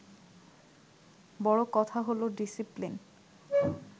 বড় কথা হলো ডিসিপ্লিন